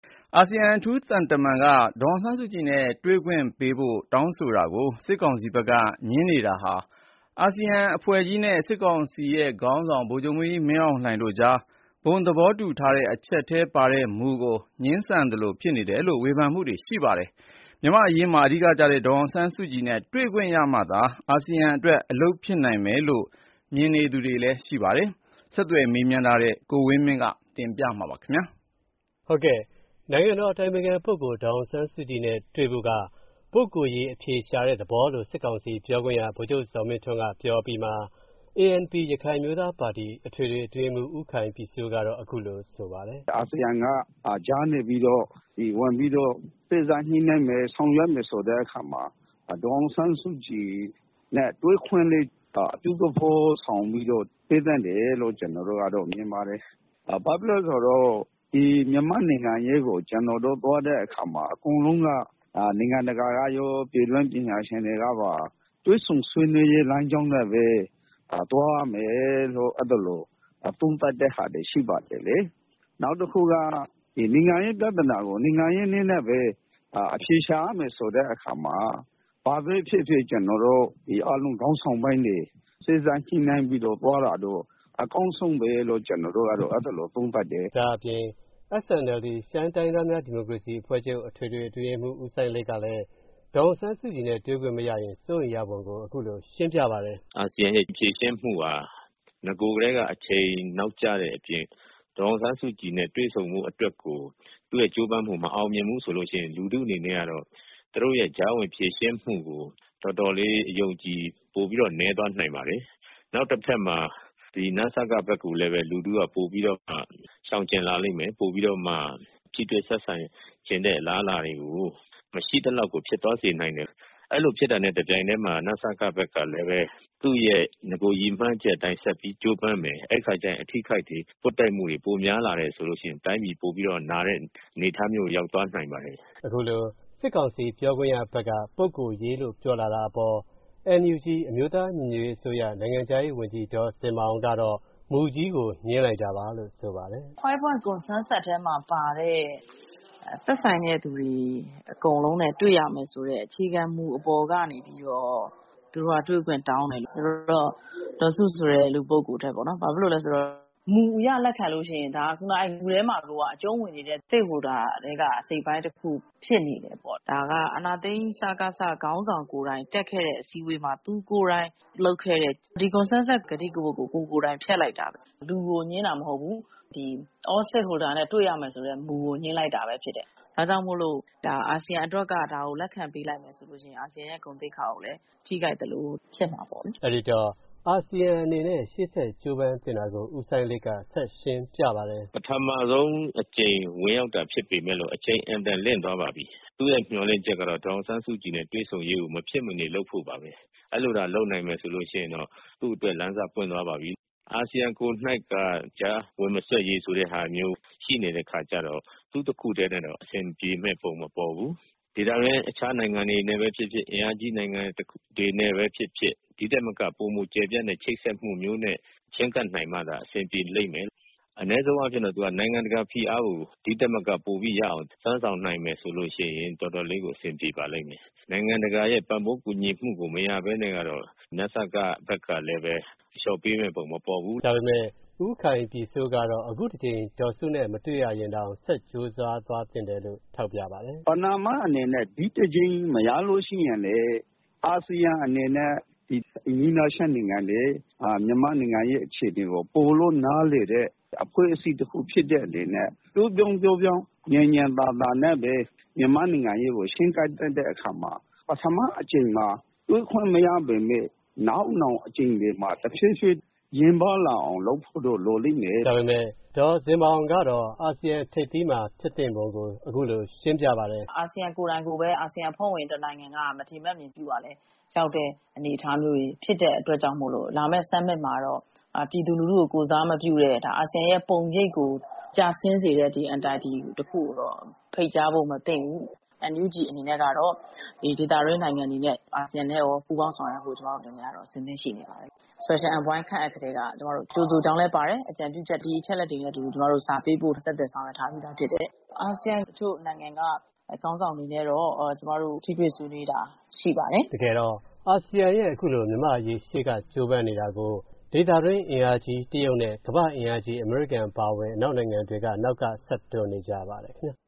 အာဆီယံ အထူးသံတမန်က ဒေါ်အောင်ဆန်းစုကြည်နဲ့ တွေ့ခွင့်ပေးဖို့ တောင်းထားတာကို စစ်ကောင်စီက ငြင်းနေတာဟာ အာဆီယံနဲ့ စစ်ကောင်စီခေါင်းဆောင် ဗိုလ်ချုပ်မူးကြီးမင်းအောင်လှိုင်တို့ကြား ဘုံသဘောတူညီချက်ထဲမှာ ပါတဲ့မူကို ငြင်းပယ်သလိုဖြစ်နေတယ်လို့ ဝေဖန်ကြတာတွေ ရှိပါတယ်။ မြန်မာ့အရေးမှာ အဓိကကျတဲ့ ဒေါ်အောင်ဆန်းစုကြည်နဲ့ တွေ့ခွင့်ရမှသာ အာဆီယံအတွက် အလုပ်ဖြစ်နိုင်မယ်လို့ မြင်တာတွေလည်း ရှိပါတယ်။ ဆက်သွယ် မေးမြန်းထားတဲ့ ကိုဝင်းမင်းက တင်ပြထားပါတယ်။ နိုင်ငံတော်အတိုင်ပင်ခံပုဂ္ဂိုလ် ဒေါ်အောင်ဆန်းစုကြည်နဲ့တွေ့ဖိုက ပုဂ္ဂိုလ်ရေးအဖြေရှာတဲ့သဘောလို့ စစ်ကောင်စီပြောခွင့်ရ ဗိုလ်ချုပ်ဇော်မင်းထွန်းက ပြောအပြီးမှာ၊ ANP ရခိုင်အမျိုးသားပါတီ အထွေထွေအတွင်းရေးမှူး ဦးခိုင်ပြည်စိုးကတော့ အခုလို ဆိုပါတယ်။ “အာဆီယံကကြားနေပြီးတော့ ဝင်ပြီးတော့ စေ့စပ်ညှိုနှိုင်းမယ် ဆောင်ရွက်မယ်ဆိုတဲ့အခါမှာ ဒေါ်အောင်ဆန်းစုကြည်နဲ့ တွေ့ခွင့်လေး အပြုသဘောဆောင်ပြီးတော့ ပေးသင့်တယ်လို့ ကျွန်တော်တို့ကတော့ မြင်ပါတယ်။ ဘာဖြစ်လို့လဲဆိုတော့ မြန်မာ့နိုင်ငံရေးကို ကျွန်တော်တို့ သွားတဲ့အခါမှာ အကုန်လုံးက နိုင်ငံတကာကရော ပြည်တွင်းပညာရှင်တွေကပါ တွေ့ဆုံဆွေးနွေရေးလမ်းကြောင်းနဲ့ပဲ သွားရမယ်လို့ သုံးသပ်တဲ့ဟာတွေရှိပါတယ်။ နောက်တခုက နိုင်ငံရေးပြဿနာကို နိုင်ငံရေးနည်းနဲ့ပဲ အဖြေရှာရမယ်ဆိုတဲ့အခါမှာ ဘာပဲဖြစ်ဖြစ် ကျွန်တော်တို့ အားလုံးခေါင်းဆောင်ပိုင်းတွေ စေ့စပ်ညှိုနှိုင်းပြီးတော့ သွားတာကတော့ အကောင်းဆုံးပဲလို့ ကျွန်တော်တို့ကတော့ သုံးသပ်တယ်။” ဒါ့အပြင် SNLD ရှမ်းတိုင်းရင်းသားများ ဒီမိုကရေစီအဖွဲ့ချုပ် အထွေထွေအတွင်းရေးမှူး ဦးစိုင်းလိတ်ကလည်း ဒေါ်အောင်ဆန်းစုကြည်နဲ့ တွေ့ခွင့်မရရင် စိုးရိမ်ရပုံကို အခုလို ရှင်းပြပါတယ်။ “အာဆီယံရဲ့ ဖြေရှင်းမူဟာ နဂိုထဲက အချိန်နောက်ကျတဲ့အပြင် ဒေါ်အောင်ဆန်းစုကြည်နဲ့တွေ့ဆုံဖို့ အတွက်ကို သူ့ရဲ့ကြိုးပမ်းမူ မအောင်မြင်ဖူးဆိုရင် လူထုအနေနဲ့ကတော့၊ သူ့တို့ရဲ့ကြားဝင်ဖြေရှင်းမူကိုတော်တော်လေး အယုံအကြည် ပိုပြီးတော့ နည်းသွားနိုင်ပါတယ်။ နောက်တဖက်မှာ နစက ဘက်လိုလည်းပဲ လူထုက ပိုပြီးတော့ ရှောင်ကျဉ်လာလိမ့်မယ်၊ ပိုပြီးတော့မှ ထိတွေ့ဆက်ဆံချင်တဲ့ အလားအလာတွေကို မရှိသလောက်ဖြစ်သွားစေနိုင်တယ်။ အဲ့လိုဖြစ်သွားတဲ့ တပြိုင်ထဲမှာပဲ နစကဘက်ကလည်း သူ့ရဲ့နဂိုရည်မှန်းချက်အတိုင်းဆက်ပြီးတော့ ကြိုးပမ်းမယ်။ အဲ့ဒိအခါကျလို့ရှိရင် အထိအခိုက်တွေ ပွတ်တိုက်မူတွေ ပိုပြီးတော့ များလာမယ်ဆိုရင် တိုင်းပြည် ပိုပြီးတော့ နာမဲ့အနေအထားကိုရောက်သွားနိုင်ပါတယ်။” အခုလို စစ်ကောင်စီ ပြောခွင့်ရဘက်က ပုဂ္ဂိုလ်ရေးလို့ ပြောလာတာအပေါ် NUG အမျိုးသားညီညွှတ်ရေးအစိုးရ နိုင်ငံခြားရေးဝန်ကြီး ဒေါ်ဇင်မာအောင်ကတော့ မူကြီးကို ငြင်းလိုက်တာပါလို့ ဆိုပါတယ်။ “ 5 Points Consensus (အားလုံးသဘောတူချက် ၅ ချက်) ထဲမှာပါတဲ့ သက်ဆိုင်တဲ့သူတွေ အကုန်လုံးနဲ့ တွှေရမယ်ဆိုတဲ့ အခြေခံမူအပေါ်ကနေပြီးတော့ သူတို့က တွေ့ခွင့်တောင်းတယ်ဆိုတော့ ဒေါ်စုဆိုတဲ့ လူပုဂ္ဂိုလ်ထက်ပေါ့နော်၊ ဘာဖြစ်လို့လဲဆိုတော့ မူအရလက်ခံလို့ရှိရင် ဒါ ခုနက မူထဲမှာကိုက အကြုံးဝင်နေတဲ့ Stakeholders ထဲက အစိတ်အပိုင်းတစ်ခုဖြစ်နေတယ်ပေါ.။ ဒါက အာဏာသိမ်း စကစ ခေါင်းဆောင်ကိုယ်တိုင်တက်ခဲ့တဲ့အစည်းအဝေးမှာ သူကိုယ်တိုင်လုပ်ခဲ့တဲ့ ဒီ Consensus ကတိကဝတ်ကို ကိုယ်ကိုယ်တိုင်ဖျက်လိုက်တာ၊ လူကိုငြင်းတာမဟုတ်ဘူး၊ ဒီ All Stakeholders နဲ့ တွေ့ရမယ်ဆိုတဲ့ မူကို ငြင်းလိုက်တာပဲဖြစ်တယ်။ ဒါကြောင့်မို့ အာဆီယံအတွက်က ဒါကိုလက်ခံပေးလိုက်ရင် အာဆီယံရဲ့ ဂုဏ်သိက္ခာကိုလည်း ထိခိုက်သလို ဖြစ်မှာပေါ့လေ။” အဲ့ဒီတော့ အာဆီယံအတွက် ဆက်ကြိုးပမ်းသင့်တာကို ဦးစိုင်းလိတ်က ရှင်းပြပါတယ်။ “ ပထမဆုံးအကြိမ် ဝင်ရောက်တာဖြစ်ပေမဲ့လို့ အချိန်အင်မတန်လင့်သွားပါပြီ။ သူ့ရဲ့မျှော်လင့်ချက်ကတော့ ဒေါ်အောင်ဆန်းစုကြည်နဲ့ တွေ့ဆုံရေးကို မဖြစ်မနေ လုပ်ဖို့ပါပဲ။ အဲ့လိုသာ လုပ်နိုင်မယ်ဆိုရင်တော့ သူ့အတွက် လမ်းစပွင့်သွားပါပြီ။ အာဆီယံကိုယ်နှိုက်က ကြားဝင်မစွက်ရေးဆိုတဲ့ဟာမျိုးရှိနေတဲ့အခါကြတော့ သူ့တခုထဲနဲ့တော့ အဆင်ပြေမဲ့ပုံ မပေါ်ဘူး။ ဒေသတွင်းအခြားနိုင်ငံတွေနဲ့ပဲဖြစ်ဖြစ် အင်အားကြီး တခြားနိုင်ငံတွေနဲ့ပဲဖြစ်ဖြစ် ဒီထက်မက ပိုမိုကျယ်ပြန့်တဲ့ ချိတ်ဆက်မူမျိုးနဲ့ ချည်းကပ်နိုင်မှသာ အဆင်ပြေနိုင်လိမ့်မယ်။ အနည်းဆုံးအားဖြင်တော့ သူက နိုင်ငံတကာဖိအားကို ဒီထက်မက ပိုပြီးရအောင် စွမ်းဆောင်နိုင်မယ်ဆိုလို့ရှိရင် တော်တော်လေးကို အဆင်ပြေပါလိမ့်မယ်။ နိုင်ငံတကာရဲ့ ပံ့ပိုးကူညီမူကို မရပဲနဲ့တော့ နစကဘက်ကလည်းပဲ အလျော့ပေးမဲ့ပုံမပေါ်ဘူး။” ဒါပေမဲ့ ဦးခိုင်ပြည်စိုးကတော့ အခုတကြိမ် ဒေါ်စုနဲ့ တွေ့ခွင့် မရရင်တောင် ဆက်ကြိုးစား သွားသင့်တယ်လို့ ထောက်ပြလိုက်ပါတယ်။ “ပဏာမအနေနဲ့ ဒီတကြိမ်မရလို့ရှိရင်လဲ အာဆီယံအနေနဲ့ အိမ်နီးနားချင်းနိုင်ငံတွေ၊ မြန်မာ့နိုင်ငံအရေးအခြေအနေကို ပိုပြီးတော့နည်းလည်တဲ့ အဖွဲ့အစည်းတခုဖြစ်တဲ့အနေနဲ့ ပျော့ပျော့ပြောင်းပြောင်း ညင်ညင်သာသာနဲ့ပဲ မြန်မာ့နိုင်ငံရေးကို ချည်းကပ်တဲ့အခါမှာ ပထမအကြိမ်မှာ တွေ့ခွင့်မရပေမဲ့ နောက်နောင်အကြိမ်တွေမှာ တဖြည်းဖြည်း ယဉ်ပါးလာအောင်လုပ်ဖို့တော့ လိုလိမ့်မယ်။’ ဒါပေမဲ့ ဒေါ်ဇင်မာအောင်ကတော့ အာဆီယံ ထိပ်သီးပွဲမှာ ဖြစ်သင့်ပုံကို အခုလို ရှင်းပြပါတယ်။ “အာဆီယံကိုယ်တိုင်ကိုပဲ အာဆီယံအဖွဲ့ဝင်နိုင်ငံတခုက မထေမဲ့မြင်ပြုရာရောက်တဲ့အနေအထားမျိုးတွေဖြစ်တဲ့အတွက်ကြောင့်မို့ လာမဲ့ Summit မှာတော့ ပြည်သူလူထုကို ကိုယ်စားမပြုတဲ့၊ အာဆီယံရဲ့ ပုံရိပ်ကိုကျဆင်းစေတဲ့ Entity တခုကိုတော့ ဖိတ်ကြားဖို့မသင့်ဘူး။ NUG အနေနဲ့ကတော့ ဒီဒေသတွင်းနိုင်ငံတွေနဲ့ အာဆီယံနဲ့ရော ပူးပေါင်းဆောင်ရွက်ဖို့ ကျွန်မတို့ အဆင်သင့်ရှိနေပါတယ်။ Special Envoy ခန့်အပ်ကထဲက ကြိုဆိုကြောင်းလဲပါတယ်၊ အကြံပြုချက် ဒီအချက်အလက်တွေနဲ့အတူ ကျွန်မတို့ စာပေးပို့ ဆက်သွယ်ဆောင်ရွက်ထားပြီးဖြစ်တယ်။ အာဆီယံ တချို.နိုင်ငံက ခေါင်းဆောင်တွေနဲ့တော့ ကျွန်မတို့ ထိတွေ့ဆွေးနွေးတာရှိပါတယ်။” တကယ်တော့ အာဆီယံအနေနဲ့ မြန်မာ့အရေး ရှေ့က ကြိုပမ်းနေတာကို ဒေသတွင်း အင်အားကြီး တရုတ်နဲ့ ကမ္ဘာ့အင်အားကြီး အမေရိကန်အပါအဝင် အနောက်နိုင်ငံတွေကလည်း အနောက်ကနေ တွန်းအား ဆက်ပေးနေဆဲ ဖြစ်ပါတယ် ခင်ဗျ